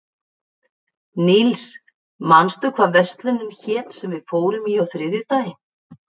Níls, manstu hvað verslunin hét sem við fórum í á þriðjudaginn?